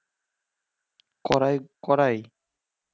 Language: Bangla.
কড়াই কড়াই